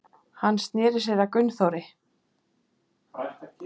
Hann sneri sér að Gunnþóri.